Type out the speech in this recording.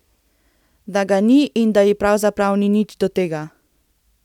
Da ga ni in da ji pravzaprav ni nič do tega.